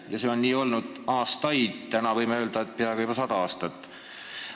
Ja see on nii aastaid olnud – täna võime öelda, et peaaegu sada aastat juba.